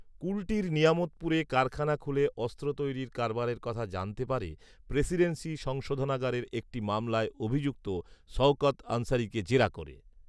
কুলটির নিয়ামতপুরে কারখানা খুলে অস্ত্র তৈরির কারবারের কথা জানতে পারে প্রেসিডেন্সি সংশোধনাগারে একটি মামলায় অভিযুক্ত সঔকত আনসারিকে জেরা করে